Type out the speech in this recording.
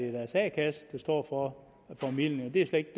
deres a kasse der står for formidlingen det er slet